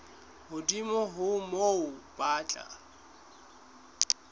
hodimo ho moo ba tla